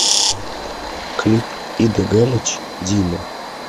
клип ида галич дима